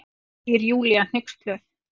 segir Júlía hneyksluð.